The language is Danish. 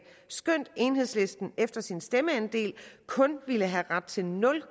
skønt enhedslisten efter sin stemmeandel kun ville have ret til nul